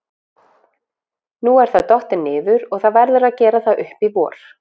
Nú er það dottið niður og það verður að gera það upp í vor.